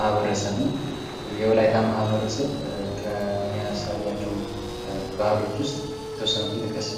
ማህበረሰብ ነው። የወላይታ ማህበረሰብ ከሚያሳያቸው ባህሎች ውስጥ የተወሰኑትን ጥቅስ?